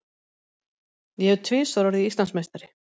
Ég hef tvisvar orðið Íslandsmeistari.